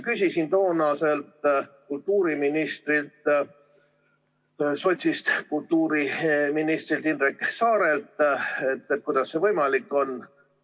Küsisin toonaselt sotsist kultuuriministrilt Indrek Saarelt, kuidas see võimalik on.